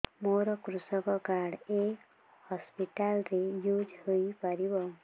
ମୋର କୃଷକ କାର୍ଡ ଏ ହସପିଟାଲ ରେ ୟୁଜ଼ ହୋଇପାରିବ